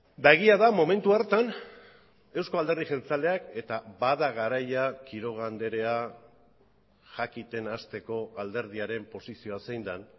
eta egia da momentu hartan eusko alderdi jeltzaleak eta bada garaia quiroga andrea jakiten hasteko alderdiaren posizioa zein den